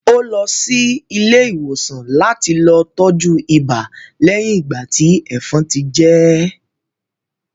Ó lọ sí ilé ìwòsàn láti lọ tọ́jú ibà lẹ́yin ìgbà tí ẹ̀fọn ti jẹ́ẹ̀